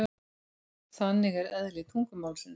Þannig er eðli tungumálsins.